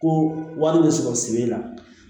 Ko wari bɛ sɔrɔ sigi la